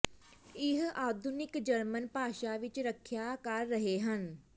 ਇਹ ਆਧੁਨਿਕ ਜਰਮਨ ਭਾਸ਼ਾ ਵਿਚ ਵੀ ਰੱਖਿਆ ਕਰ ਰਹੇ ਹਨ